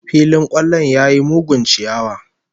Filin kwallon ya yi mugun chiyawa